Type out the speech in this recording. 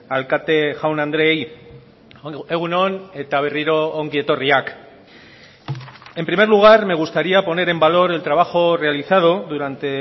alkate jaun andreei egun on eta berriro ongietorriak en primer lugar me gustaría poner en valor el trabajo realizado durante